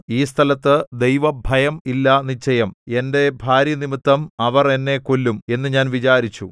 ഈ സ്ഥലത്ത് ദൈവഭയം ഇല്ല നിശ്ചയം എന്റെ ഭാര്യനിമിത്തം അവർ എന്നെ കൊല്ലും എന്ന് ഞാൻ വിചാരിച്ചു